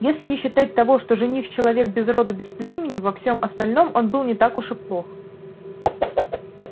если не считать того что жених человек без роду без племени во всем остальном он был не так уж и плох